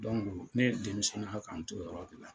ne ye na ka n to o yɔrɔ de la.